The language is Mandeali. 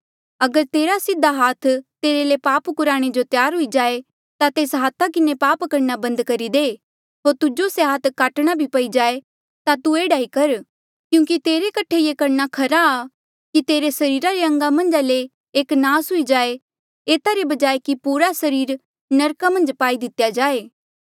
अगर तेरा सीधा हाथ तेरे ले पाप कुराणे जो त्यार हुई जाए ता तेस हाथा किन्हें पाप करणा बंद करी दे होर तुजो से हाथ काटणा भी पई जाए ता तू एह्ड़ा ई कर क्यूंकि तेरे कठे ये खरा कि तेरे सरीरा रे अंगा मन्झ ले एक नास हुई जाए एता रे बजाय कि पूरा सरीर नरका मन्झ पाई दितेया जाए